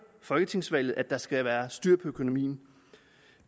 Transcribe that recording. folketingsvalget at der skal være styr på økonomien